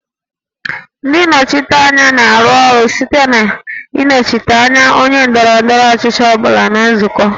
Ndị nnọchiteanya na-arụ ọrụ site na ịnọchite anya onye ndọrọ ndọrọ ọchịchị ọ bụla na nzukọ